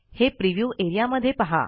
हे प्रिव्ह्यू एरियामध्ये पहा